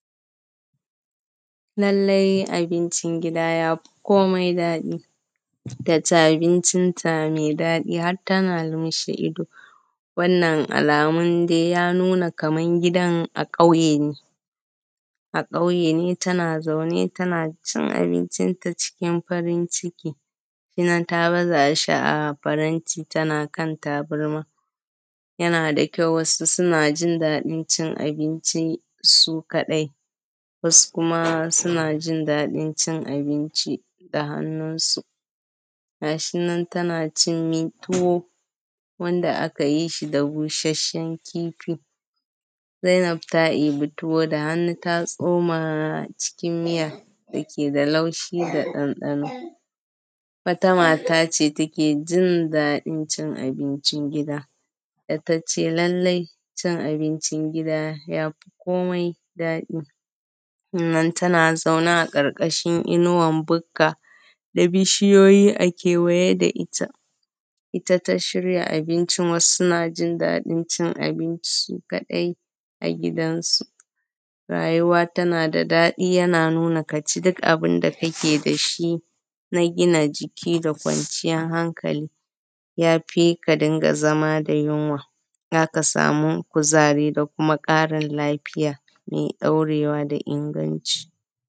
Lalle abincin gida yafi kome daɗi, ta ci abincinta mai daɗi har tana lumshe ido, wannan alamun dai ya nuna kaman gidan a ƙauye ne, tana zaune tana cin abincinta cikin farin ciki, gashi nan ta baza shi a faranti tana kan tabarma. Yana da kyau, wasu suna jin daɗin cin abinci su kadai, wasu kuma suna jin daɗin cin abinci da hannunsu. Gashi nan tana cin me tuwa? Wanda aka yi shi da busasshen kifi. Zainab ta ɗibi ibi tuwo da hannu ta tsoma cikin miyar dake da laushi da ɗanɗano. Wata mata ce take jin daɗin cin abincin gidan, data ce lalle cin abincin gida yafi kome daɗi. Sannan tana zaune a ƙarƙashin inuwan buka, da bishiyoyi a kewaye da ita. Ita ta shirya abincin wasu suna jin daɗin cin abinci su kadai a gidan su. Rayuwa tana da daɗi yana nuna kaci duk abinda kake dashi na gina jiki da kwanciyar hankali, yafi ka dinga zama da yunwa, zaka samu kuzari da kuma karin lafiya me ɗaurewa da inganci.